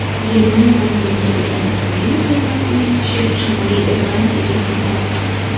Germaniyadan yengilgan Ukraina termasining tishi Shimoliy Irlandiyaga ham o‘tmadi.